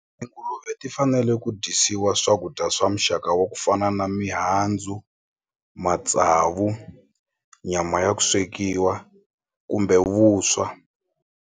ti fanele ku dyisiwa swakudya swa muxaka wa ku fana na mihandzu matsavu nyama ya ku swekiwa kumbe vuswa.